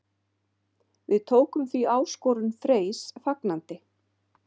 Við tókum því áskorun Freys fagnandi.